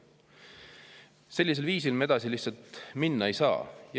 Sellisel viisil me edasi minna ei saa.